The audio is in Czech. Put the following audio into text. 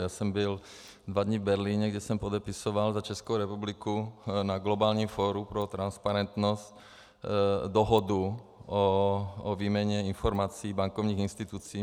Já jsem byl dva dny v Berlíně, kde jsem podepisoval za Českou republiku na Globálním fóru pro transparentnost dohodu o výměně informací bankovních institucí.